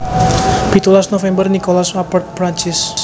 Pitulas november Nicolas Appert Perancis